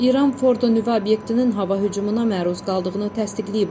İran Fordo nüvə obyektinin hava hücumuna məruz qaldığını təsdiqləyib.